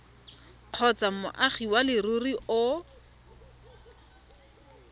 kgotsa moagi wa leruri o